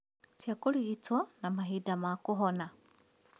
Cia kũrigitwo na mahinda ma kũhona